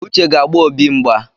Uche ga-agba Obi mgba